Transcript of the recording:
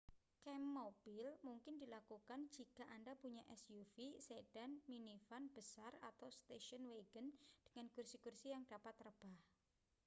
kamp mobil mungkin dilakukan jika anda punya suv sedan minivan besar atau station wagon dengan kursi-kursi yang dapat rebah